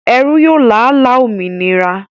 Ẹrú yóò lála òmìnira